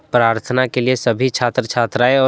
प्रार्थना के लिए सभी छात्र छात्राएं और--